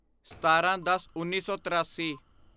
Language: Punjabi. ਸਤਾਰਾਂਦਸਉੱਨੀ ਸੌ ਤੀਰਾਸੀ